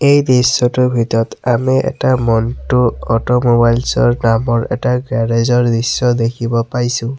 এই দৃশ্যটোৰ ভিতৰত আমি এটা মন্টু অটোমোবাইলচ্ ৰ নামৰ এটা গেৰেজ ৰ দৃশ্য দেখিব পাইছোঁ।